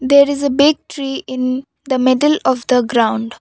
there is a big tree in the middle of the ground.